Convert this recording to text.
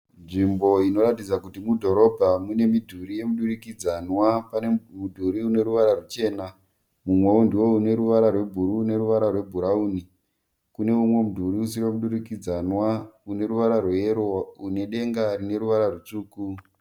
Nzvimbo inoratidza kuti mudhorobha mune midhuri yemidurikidzanwa. Pane mudhuri une ruvara ruchena mumwewo ndiwo uneruvara rwebhuru neruvara rwebhurawuni. Kune umwe mudhuri usiri wemudurikdzanwa une ruvara rweyero unedenga rine ruvara rwutsvuku.